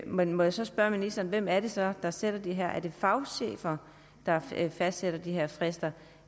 men må jeg så spørge ministeren hvem er det så der sætter de her tidsfrister er det fagchefer der fastsætter de her frister